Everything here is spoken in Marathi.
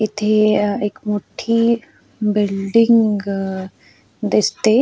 इथे अ एक मोठ्ठी बिल्डिंग अ दिसते.